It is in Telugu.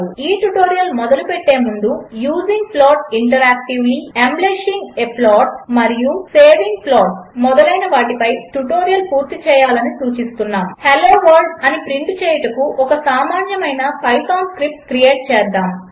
ఈ ట్యుటోరియల్ మొదలుపెట్టేముందు using plot interactively embellishing a plot మరియు సేవింగ్ ప్లాట్స్ మొదలైన వాటిపై ట్యుటోరియల్ పూర్తి చేయాలని సూచిస్తున్నాము హెల్లో వర్ల్డ్ అని ప్రింట్ చేయుటకు ఒక సామాన్యమైన పైథాన్ స్క్రిప్ట్ క్రియేట్ చేద్దాము